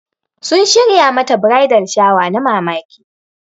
Sun shirya mata bridal shower na mamaki.